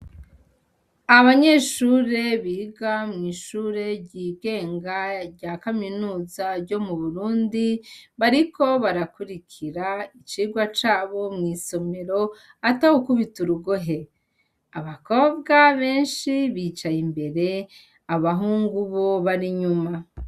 Abanyeshure biga mw'ishure ry'igenga rya kaminuza ryo mu burundi bariko barakurikira icirwa cabo mw'isomero ata wukubita urugohe abakobwa benshi bicaye imbere abahungu bo barinyuma.